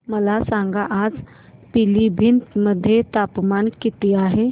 मला सांगा आज पिलीभीत मध्ये तापमान किती आहे